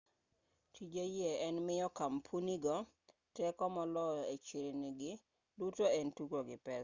tije yie en miyo kampunigo teko moloyo e chirni-gi duto en tugo gi pesa